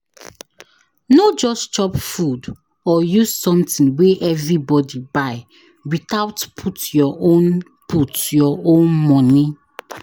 No just chop food or use something wey everybody buy without put your own put your own money.